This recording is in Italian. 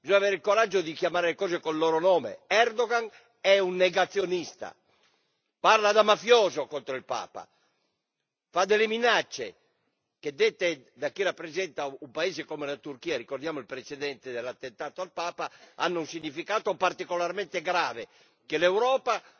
Bisogna avere il coraggio di chiamare le cose con il loro nome Erdogan è un negazionista, parla da mafioso contro il Papa, fa delle minacce, che dette da chi rappresenta un paese come la Turchia ricordiamo il precedente dell'attentato al Papa hanno un significato particolarmente grave che l'Europa